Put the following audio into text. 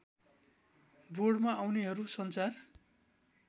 बोर्डमा आउनेहरू सञ्चार